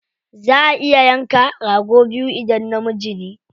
Za a iya yanka rago biyu idan namiji ne.